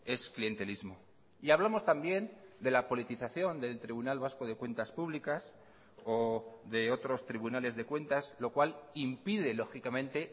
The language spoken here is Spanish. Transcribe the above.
es clientelismo y hablamos también de la politización del tribunal vasco de cuentas públicas o de otros tribunales de cuentas lo cual impide lógicamente